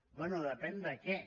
bé depèn de què